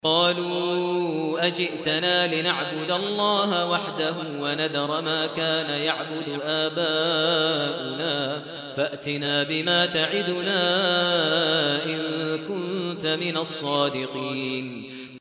قَالُوا أَجِئْتَنَا لِنَعْبُدَ اللَّهَ وَحْدَهُ وَنَذَرَ مَا كَانَ يَعْبُدُ آبَاؤُنَا ۖ فَأْتِنَا بِمَا تَعِدُنَا إِن كُنتَ مِنَ الصَّادِقِينَ